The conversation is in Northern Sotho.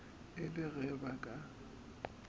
e le ge ba ka